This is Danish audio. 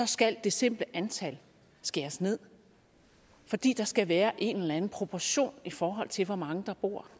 skal det simple antal skæres ned fordi der skal være en eller anden proportion i forhold til hvor mange der bor